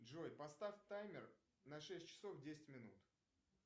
джой поставь таймер на шесть часов десять минут